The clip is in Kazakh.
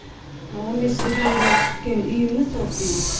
он бес жылдан бері күткен үйіміз осы үй